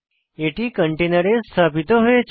এটি কন্টেনারে স্থাপিত হয়েছে